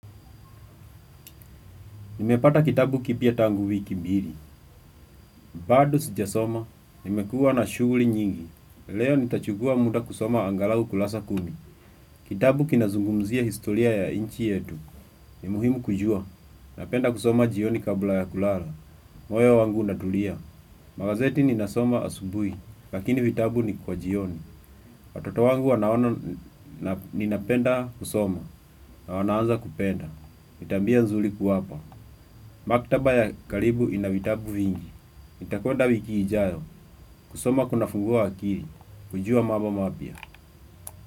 Nimepata kitabu kipya tangu wiki mbili, bado sijasoma, nimekuwa na shughuli nyingi, leo nitachukua muda kusoma angalau kurasa kumi, kitabu kinazungumzia historia ya inchi yetu, ni muhimu kujua, napenda kusoma jioni kabla ya kulala, moyo wangu unatulia, magazeti ninasoma asubuhi, lakini vitabu ni kwa jioni, watoto wangu wana ona ninapenda kusoma, na wanaanza kupenda, ni tabia nzuri kuwapa. Maktaba ya karibu ina vitabu vingi nitakwenda wiki ijayo, kusoma kuna fungua akili, kujua mambo mapya.